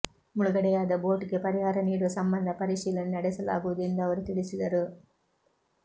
ಮುಳುಗಡೆಯಾದ ಬೋಟ್ಗೆ ಪರಿಹಾರ ನೀಡುವ ಸಂಬಂಧ ಪರಿಶೀಲನೆ ನಡೆಸಲಾಗುವುದು ಎಂದು ಅವರು ತಿಳಿಸಿದರು